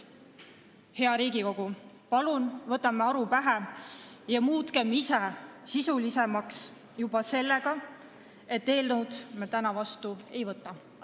Hea Riigikogu, palun võtame aru pähe ja muutume oma töös sisulisemaks juba sellega, et seda eelnõu me täna vastu ei võta!